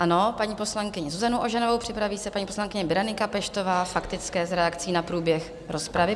Ano, paní poslankyni Zuzanu Ožanovou, připraví se paní poslankyně Berenika Peštová - faktické, s reakcí na průběh rozpravy.